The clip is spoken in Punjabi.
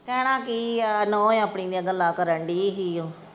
ਕਹਿਣਾ ਕਿ ਆ, ਨੂੰਹ ਏ ਆਪਣੀ ਦੀਆਂ ਗਲਾਂ ਕਰਨ ਦਈ ਸੀ ਉਹ।